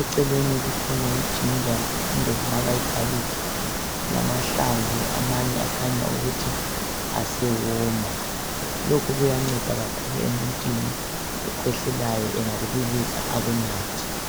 Eceleni kukhona i ginger le garlic, lamahlamvu amanye akhanya ukuthi asewoma. Lokhu kuyanceda kakhulu emuntwini okhwehlelayo engakubilisa akunathe.